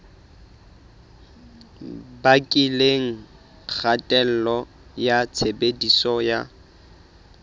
bakileng kgatello ya tshebediso ya